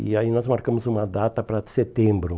E aí nós marcamos uma data para setembro.